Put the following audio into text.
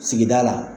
Sigida la